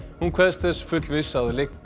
hún kveðst þess fullviss